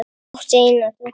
Hún átti eina dóttur.